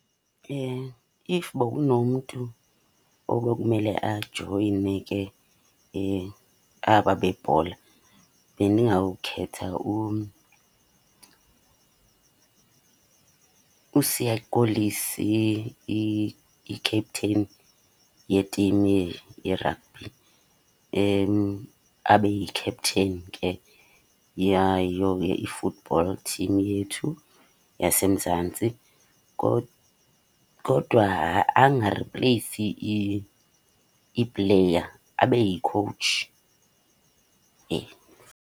If bokunomntu obekumele ajoyine ke aba bebhola bendingawukhetha uSiya Kolisi, i-captain yetimu yeragbhi, abe yi-captain ke yayo ke i-football team yethu yaseMzantsi. Kodwa angaripleyisi iipleya, abe yikhowutshi .